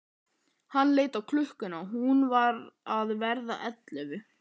Hann leit á klukkuna, hún var að verða ellefu.